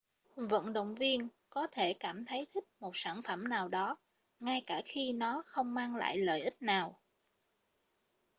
vận động viên có thể cảm thấy thích một sản phẩm nào đó ngay cả khi nó không mang lại lợi ích nào